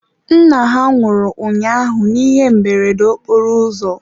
nna ha nwụrụ ụnyaahụ n'ihe mberede okporoụzọ.